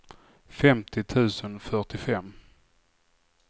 femtio tusen fyrtiofem